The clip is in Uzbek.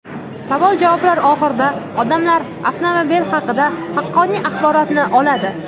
Savol-javoblar oxirida odamlar avtomobil haqidagi haqqoniy axborotni oladi.